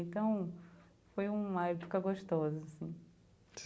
Então, foi uma época gostosa, assim.